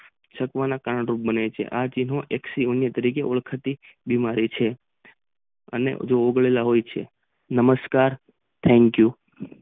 છતો માં કાંડ ઉમેરીએ છીએ આ એક શિવ ને તરીકે ઓળખતી બીમારી છે અને જે ઓગળવા આવી છે નમસ્કાર થેક યુ.